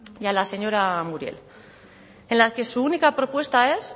y a la señora muriel en la que su única propuesta es